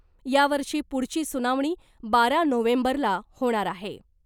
यावरची पुढची सुनावणी बारा नोव्हेंबरला होणार आहे .